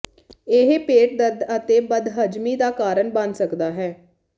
ਇਹ ਪੇਟ ਦਰਦ ਅਤੇ ਬਦਹਜ਼ਮੀ ਦਾ ਕਾਰਨ ਬਣ ਸਕਦਾ ਹੈ